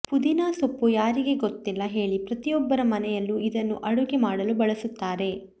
ಪುದೀನಾ ಸೊಪ್ಪು ಯಾರಿಗೆ ಗೊತ್ತಿಲ್ಲ ಹೇಳಿ ಪ್ರತಿಯೊಬ್ಬರ ಮನೆಯಲ್ಲೂ ಇದನ್ನು ಅಡುಗೆ ಮಾಡಲು ಬಳಸುತ್ತಾರೆ